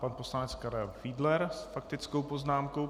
Pan poslanec Karel Fiedler s faktickou poznámkou.